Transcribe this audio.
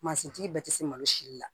Mansintigi bɛɛ tɛ se malo si la